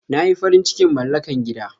Na yi farin cikin malaka gida.